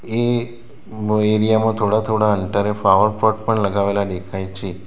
એ area માં થોડા થોડા અંતરે ફ્લાવર પોટ પણ લગાવેલા દેખાય છે.